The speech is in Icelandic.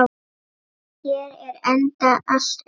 Hér er enda allt undir.